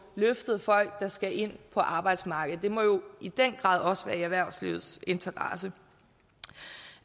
løftet folk der skal ind på arbejdsmarkedet det må jo i den grad også være i erhvervslivets interesse